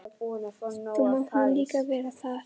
Þú mátt nú líka vera það.